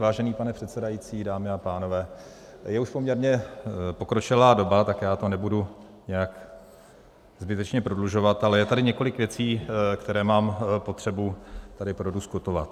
Vážený pane předsedající, dámy a pánové, je už poměrně pokročilá doba, tak já to nebudu nějak zbytečně prodlužovat, ale je tady několik věcí, které mám potřebu tady prodiskutovat.